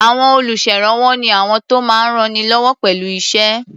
À̀wọn olùṣèrànwọ́ ni àwọn tó máa ń rannilọ́wọ́ pẹ̀lú iṣẹ́.